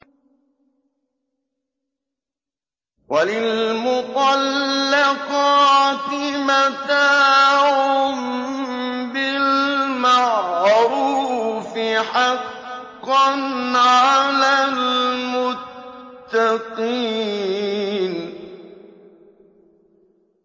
وَلِلْمُطَلَّقَاتِ مَتَاعٌ بِالْمَعْرُوفِ ۖ حَقًّا عَلَى الْمُتَّقِينَ